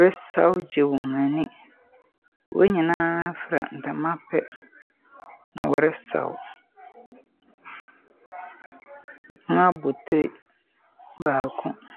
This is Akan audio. resaw gye wɔn ani. Wɔnyinaa fra ntama pɛ na wɔresaw. Wɔn abotiri baako.